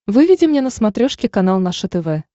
выведи мне на смотрешке канал наше тв